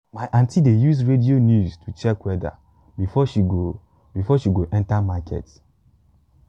my aunty dey use radio news to check weather before she go before she go enter market.